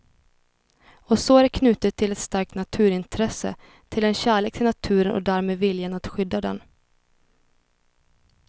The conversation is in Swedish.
Och så är det knutet till ett starkt naturintresse, till en kärlek till naturen och därmed viljan att skydda den.